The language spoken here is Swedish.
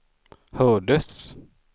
hördes